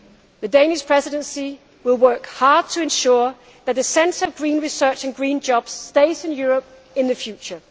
The Danish Presidency will work hard to ensure that the centre of green research and green jobs stays in Europe in the future.